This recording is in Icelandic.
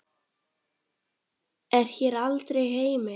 er hér aldrei heimil.